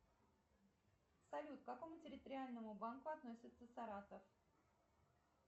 салют к какому территориальному банку относится саратов